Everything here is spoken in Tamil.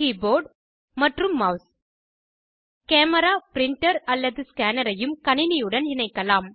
கீபோர்ட் மற்றும் மெளஸ் கேமரா ப்ரிண்டர் அல்லது ஸ்கேனரையும் கணினியுடன் இணைக்கலாம்